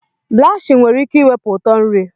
Blachin nwere ike iwepi utọ nri.